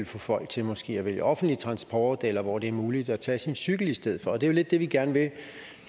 få folk til måske at vælge offentlig transport eller hvor det er muligt at tage cyklen i stedet for og det er jo lidt det vi gerne vil